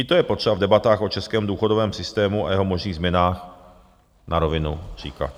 I to je potřeba v debatách o českém důchodovém systému a jeho možných změnách na rovinu říkat.